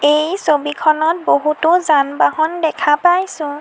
এই ছবিখনত বহুতো যান-বাহন দেখা পাইছোঁ।